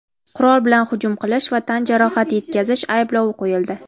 qurol bilan hujum qilish va tan jarohati yetkazish ayblovi qo‘yildi.